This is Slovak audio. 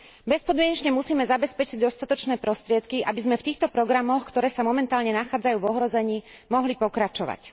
Bezpodmienečne musíme zabezpečiť dostatočné prostriedky, aby sme v týchto programoch, ktoré sa momentálne nachádzajú v ohrození, mohli pokračovať.